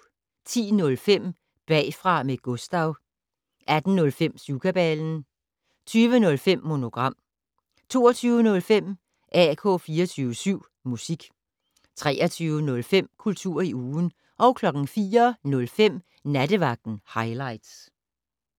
10:05: Bagfra med Gustav 18:05: Syvkabalen 20:05: Monogram 22:05: AK 24syv Musik 23:05: Kultur i ugen 04:05: Nattevagten Highligts